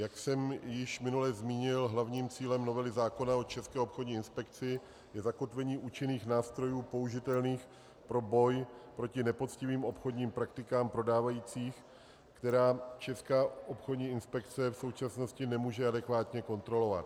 Jak jsem již minule zmínil, hlavním cílem novely zákona o České obchodní inspekci je zakotvení účinných nástrojů použitelných pro boj proti nepoctivým obchodním praktikám prodávajících, které Česká obchodní inspekce v současnosti nemůže adekvátně kontrolovat.